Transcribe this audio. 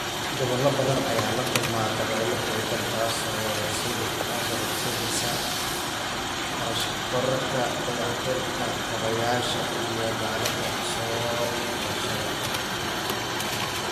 Gobollo badan ayaa la kulma dabaylo xooggan, taasoo horseedaysa kharash kororka dayactirka kaabayaasha iyo dadaallada soo kabashada.